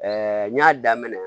n y'a daminɛ